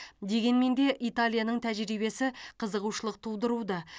дегенмен де италияның тәжірибесі қызығушылық тудыруда